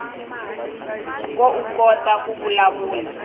koukota ku vulavula